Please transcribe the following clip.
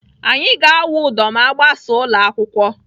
Anyị ga-awụ udo ma agbasa ụlọ akwụkwọ.